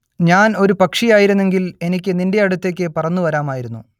ഞാൻ ഒരു പക്ഷിയായിരുന്നെങ്കിൽ എനിക്ക് നിന്റെ അടുത്തേക്ക് പറന്നു വരാമായിരുന്നു